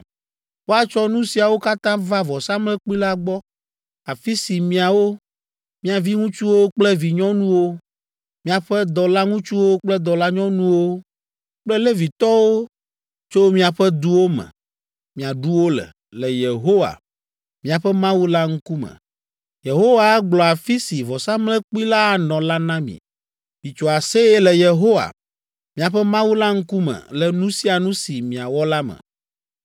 Woatsɔ nu siawo katã va vɔsamlekpui la gbɔ, afi si miawo, mia viŋutsuwo kple vinyɔnuwo, miaƒe dɔlaŋutsuwo kple dɔlanyɔnuwo kple Levitɔwo tso miaƒe duwo me, miaɖu wo le, le Yehowa, miaƒe Mawu la ŋkume. Yehowa agblɔ afi si vɔsamlekpui la anɔ la na mi. Mitso aseye le Yehowa, miaƒe Mawu la ŋkume le nu sia nu si miawɔ la me.